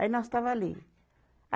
Aí nós estava ali.